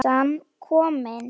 Pressan komin.